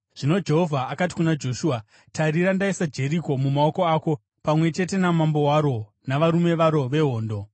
Zvino Jehovha akati kuna Joshua, “Tarira, ndaisa Jeriko mumaoko ako, pamwe chete namambo waro navarume varo vehondo.